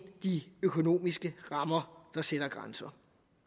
de økonomiske rammer der sætter grænser